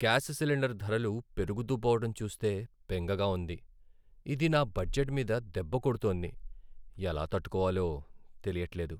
Gas cylinder ధరలు పెరుగుతూ పోవడటం చూస్తే బెంగగా ఉంది. ఇది నా బడ్జెట్ మీద దెబ్బ కొడుతోంది, ఎలా తట్టుకోవాలో తెలియట్లేదు.